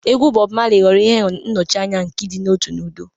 Egwu Bob Marley ghọrọ ihe nnọchianya nke ịdị n'otu na udo.